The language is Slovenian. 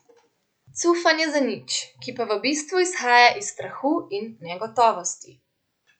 Cufanje za nič, ki pa v bistvu izhaja iz strahu in negotovosti.